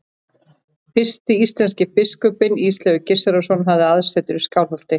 Fyrsti íslenski biskupinn, Ísleifur Gissurarson, hafði aðsetur í Skálholti.